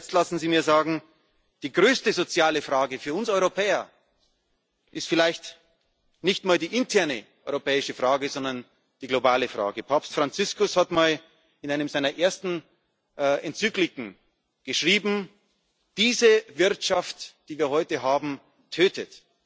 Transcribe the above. Lassen Sie mich zu guter Letzt sagen Die größte soziale Frage für uns Europäer ist vielleicht nicht mal die interne europäische Frage, sondern die globale Frage. Papst Franziskus hat einmal in einer seiner ersten Enzykliken geschrieben, diese Wirtschaft, die wir heute haben,